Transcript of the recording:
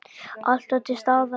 Alltaf til staðar.